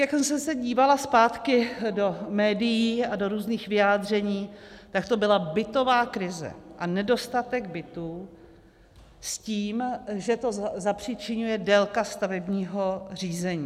Jak jsem se dívala zpátky do médií a do různých vyjádření, tak to byla bytová krize a nedostatek bytů s tím, že to zapříčiňuje délka stavebního řízení.